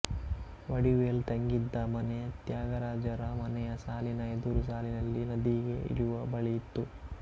ವಡಿವೇಲು ತಂಗಿದ್ದ ಮನೆ ತ್ಯಾಗರಾಜರ ಮನೆಯ ಸಾಲಿನ ಎದುರು ಸಾಲಿನಲ್ಲಿ ನದಿಗೆ ಇಳಿಯುವ ಬಳಿ ಇತ್ತು